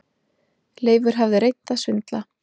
Leifur hafði reynt að svindla.